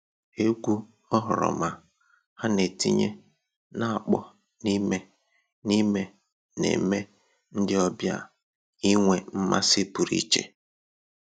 Egwu oghoroma ha na-etinye na-akpọ n'ime n'ime na-eme ndị ọbịa inwe mmasị pụrụ iche